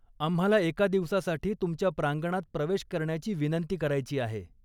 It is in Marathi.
आम्हाला एका दिवसासाठी तुमच्या प्रांगणात प्रवेश करण्याची विनंती करायची आहे.